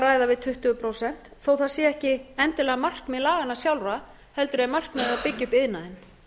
ræða við tuttugu prósent þó það sé ekki endilega markmið laganna sjálfra heldur er markmiðið að byggja upp iðnaðinn